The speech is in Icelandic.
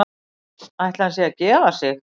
Ætli hann sé að gefa sig?